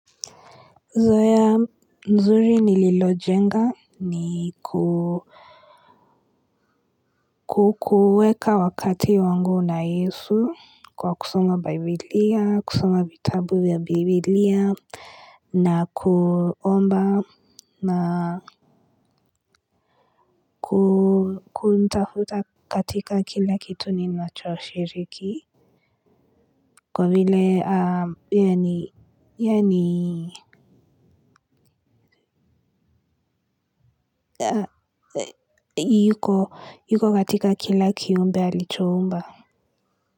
Zoea nzuri ni lilojenga ni ku kukuweka wakati wangu na Yesu kwa kusoma biblia, kusuma vitabu vya bibilia, na kuomba na kuumtafuta katika kila kitu ninacho shiriki. Kwa vile yani yuko katika kila kiumbe alichoumba.